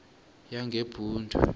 yangebhundu